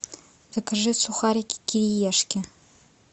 закажи сухарики кириешки